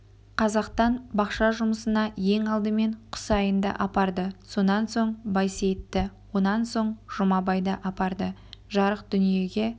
қазақтан бақша жұмысына ең алдымен құсайынды апарды сонан соң байсейітті онан соң жұмабайды апарды жарық дүниеге